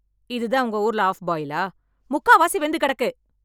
இதுதான் உங்க ஊர்ல ஆஃப் பாயில்லா? முக்காவாசி வெந்து கிடக்கு.